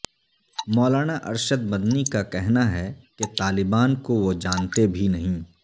مولانا ارشد مدنی کا کہناہے کہ طالبان کو وہ جانتے بھی نہیں